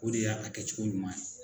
O de y'a a kɛcogo ɲuman ye